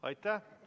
Aitäh!